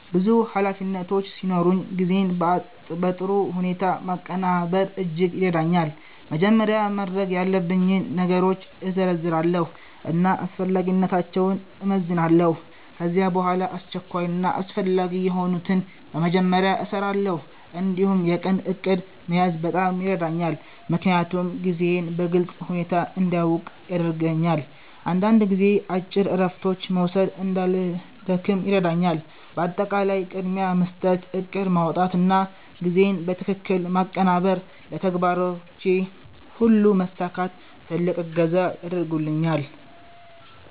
ብዙ ኃላፊነቶች ሲኖሩኝ ጊዜን በጥሩ ሁኔታ ማቀናበር እጅግ ይረዳኛል። መጀመሪያ ማድረግ ያለብኝን ነገሮች እዘርዝራለሁ እና አስፈላጊነታቸውን እመዝናለሁ። ከዚያ በኋላ አስቸኳይ እና አስፈላጊ የሆኑትን በመጀመሪያ እሰራለሁ። እንዲሁም የቀን እቅድ መያዝ በጣም ይረዳኛል፣ ምክንያቱም ጊዜዬን በግልጽ ሁኔታ እንዲያውቅ ያደርገኛል። አንዳንድ ጊዜ አጭር እረፍቶች መውሰድ እንዳልደክም ይረዳኛል። በአጠቃላይ ቅድሚያ መስጠት፣ እቅድ ማውጣት እና ጊዜን በትክክል ማቀናበር ለተግባሮቼ ሁሉ መሳካት ትልቅ እገዛ ያደርጉልኛል።